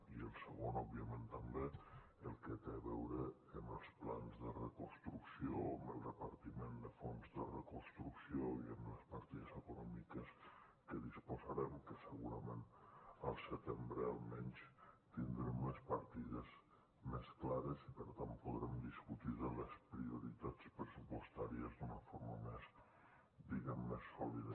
i el segon òbviament també el que té a veure amb els plans de reconstrucció amb el repartiment de fons de reconstrucció i amb les partides econòmiques que disposarem que segurament al setembre almenys tindrem les partides més clares i per tant podrem discutir les prioritats pressupostàries d’una forma més diguem ne més sòlida